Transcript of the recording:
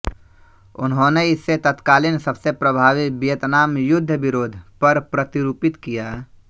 उन्होंने इसे तत्कालीन सबसे प्रभावी विएतनाम युद्ध विरोध पर प्रतिरूपित किया